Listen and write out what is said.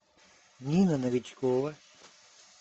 нина новичкова